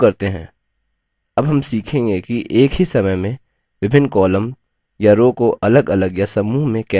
अब हम सीखेंगे कि एक ही समय में विभिन्न columns या rows को अलगअलग या समूह में कैसे डिलीट करें